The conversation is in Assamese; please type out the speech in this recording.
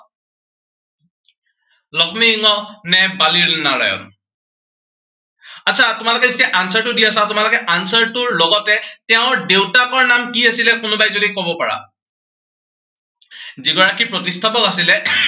লক্ষ্মী সিংহ নে বাণী নাৰায়ণ। আচ্ছাস তোমালোকে যেতিয়া answer টো দি আছা, তোমালোকে answer টোৰ লগতে তেওঁৰ দেউতাকৰ নাম কি আছিলে কোনোবাই যদি কব পাৰা যি গৰাকী প্ৰতিষ্ঠাপক আছিলে